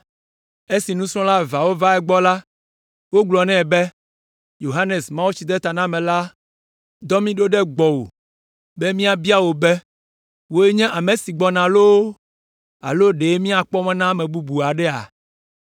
Esi nusrɔ̃la eveawo va egbɔ la, wogblɔ nɛ be, “Yohanes, Mawutsidetanamelae dɔ mí ɖo ɖe gbɔwò be míabia wò be, ‘Wòe nye ame si gbɔna loo alo ɖe míakpɔ mɔ na ame bubu aɖea?’ ”